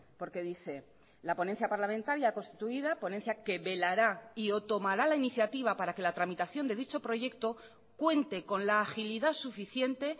porque dice la ponencia parlamentaria constituida ponencia que velará y o tomará la iniciativa para que la tramitación de dicho proyecto cuente con la agilidad suficiente